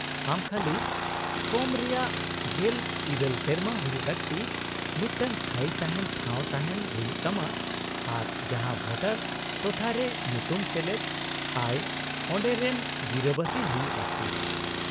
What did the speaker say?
-ᱟᱢ ᱠᱷᱟᱹᱞᱤ ᱠᱚᱢ ᱨᱮᱭᱟᱜ ᱑᱘ ᱥᱮᱨᱢᱟ ᱦᱩᱭᱩᱜ ᱞᱟᱹᱠᱛᱤ , ᱢᱤᱫᱴᱟᱝ ᱛᱷᱟᱭᱤ ᱛᱟᱦᱮᱱ ᱴᱷᱟᱶ ᱛᱟᱦᱮᱱ ᱦᱩᱭᱩᱜ ᱛᱟᱢᱟ , ᱟᱨ ᱡᱟᱦᱟ ᱵᱷᱳᱴᱟᱨ ᱴᱚᱴᱷᱟᱨᱮ ᱧᱩᱛᱩᱢ ᱥᱮᱞᱮᱫ ᱟᱭ ᱚᱰᱮᱨᱮᱱ ᱜᱤᱨᱟᱹᱵᱟᱹᱥᱤ ᱦᱩᱭᱩᱜ ᱞᱟᱹᱠᱛᱤ ᱾